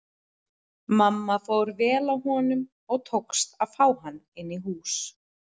Mamma fór vel að honum og tókst að fá hann inn í hús.